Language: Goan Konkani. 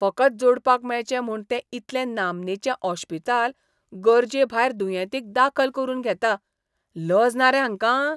फकत जोडपाक मेळचें म्हूण तें इतलें नामनेचें ओश्पिताल गरजेभायर दुयेंतीक दाखल करून घेता. लज ना रे हांकां?